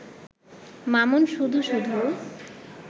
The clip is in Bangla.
মামুন শুধু শুধু